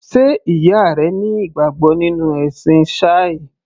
Sé ìyá rẹ ní ìgbàgbọ́ nínú ẹ̀sìn Shia?